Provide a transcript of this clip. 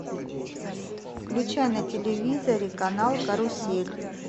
включай на телевизоре канал карусель